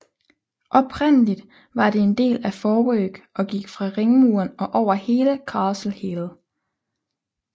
Oprindeligt var det en del af Forework og gik fra ringmuren og over hele Castle Hill